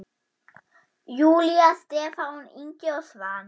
Júlía, Stefán Ingi og Svanur.